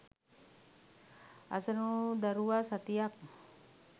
අසරණවූ දරුවා සතියක්